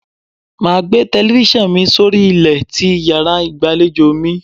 Máa gbé telifíṣàn mi sórí ilẹ̀ ti yàrá ìgbàlejò.